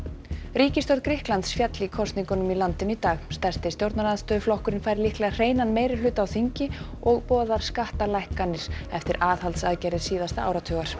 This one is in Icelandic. ríkisstjórn Grikklands féll í kosningum í landinu í dag stærsti stjórnarandstöðuflokkurinn fær líklega hreinan meirihluta á þingi og boðar skattalækkanir eftir aðhaldsaðgerðir síðasta áratugar